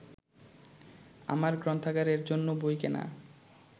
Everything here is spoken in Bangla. আমার গ্রন্থাগারের জন্য বই কেনা